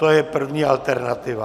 To je první alternativa.